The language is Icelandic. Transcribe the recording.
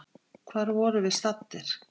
Hvar vorum við staddir?